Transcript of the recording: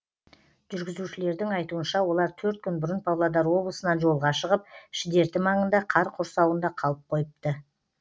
жүргізушілердің айтуынша олар төрт күн бұрын павлодар облысынан жолға шығып шідерті маңында қар құрсауында қалып қойыпты